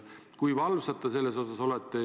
Kui valvsad te selles osas olete?